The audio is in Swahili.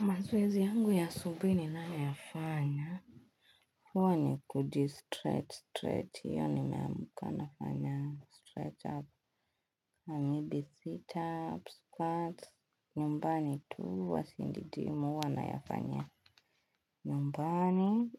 Mazoezi yangu ya asubui ni nayoyafanya. Huwa ni kuji stretch, stretch. Iyo ni meamuka nafanya straight up, maybe sit up, squats. Nyumbani tu huwa siendi jimu huwa na yafanya nyumbani.